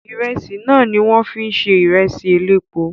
Ìrẹsì náà ni wọ́n fi ń se ìrẹsì elépo